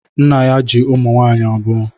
Nna ya ji ụmụ nwaanyị abụọ.